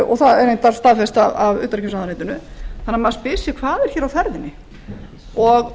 og það er reyndar staðfest af utanríkisráðuneytinu ég hlýt því að spyrja hvað er hér á ferðinni virðulegur forseti